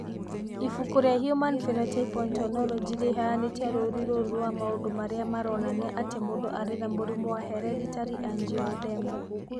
Ibuku rĩa Human Phenotype Ontology rĩheanĩte rũũri rũrũ rwa maũndũ marĩa maronania atĩ mũndũ arĩ na mũrimũ wa Hereditary angioedema.